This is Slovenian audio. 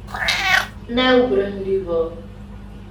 Neubranljivo!